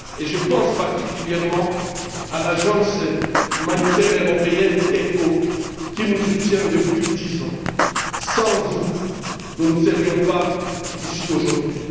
Je pense particulièrement à l'agence humanitaire européenne ECHO qui nous soutient depuis 10 ans. Sans vous, nous ne serions pas ici aujourd'hui.